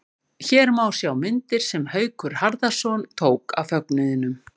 Hér má sjá myndir sem Haukur Harðarson tók af fögnuðinum.